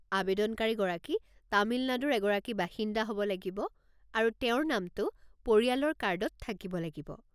আৱেদনকাৰীগৰাকী তামিলনাডুৰ এগৰাকী বাসিন্দা হ'ব লাগিব আৰু তেওঁৰ নামটো পৰিয়ালৰ কাৰ্ডত থাকিব লাগিব।